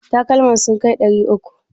Takalman sun kai ɗari uku?